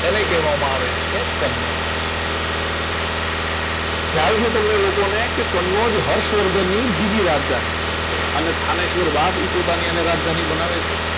આને કહેવામાં આવે છે કનોજ ખ્યાલ છે તમને લોકોને કે કાનોજ હર્ષવર્ધનની બીજી રાજધાની હતી અને થાનેશ્વર બાદ એ પોતાની રાજધાની બનાવે છે